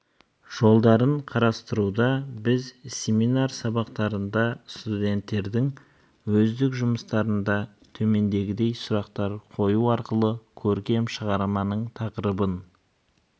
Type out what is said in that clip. жолдарын қарастыруда біз семинар сабақтарында студенттердің өздік жұмыстарында төмнедегідей сұрақтар қою арқылы көркем шығарманың тақырыбын